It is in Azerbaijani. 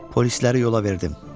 Polisləri yola verdim.